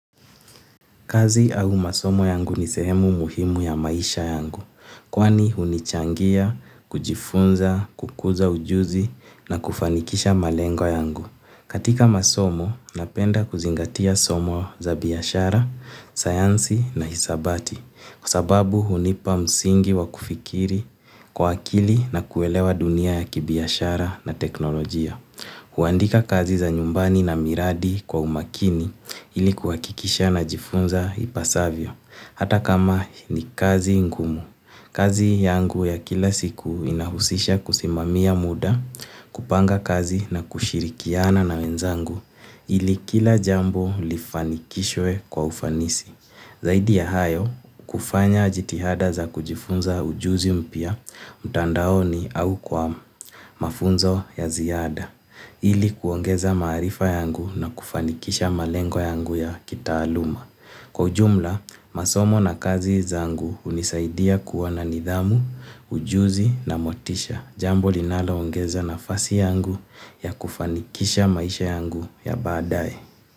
Kazi au masomo yangu ni sehemu muhimu ya maisha yangu, kwani hunichangia, kujifunza, kukuza ujuzi na kufanikisha malengo yangu. Katika masomo, napenda kuzingatia somo za biashara, sayansi na hisabati, kwa sababu hunipa msingi wa kufikiri, kwa akili na kuelewa dunia ya kibiashara na teknolojia. Huandika kazi za nyumbani na miradi kwa umakini ilikuhakikisha na jifunza ipasavyo, hata kama ni kazi ngumu. Kazi yangu ya kila siku inahusisha kusimamia muda kupanga kazi na kushirikiana na wenzangu ili kila jambo lifanikishwe kwa ufanisi. Zaidi ya hayo, kufanya jitihada za kujifunza ujuzi mpya, mtandaoni au kwamu, mafunzo ya ziada. Ili kuongeza maarifa yangu na kufanikisha malengo yangu ya kitaaluma. Kwa ujumla, masomo na kazi zangu hunisaidia kuwa na nidhamu, ujuzi na motisha. Jambo linaloongeza nafasi yangu ya kufanikisha maisha yangu ya baadae.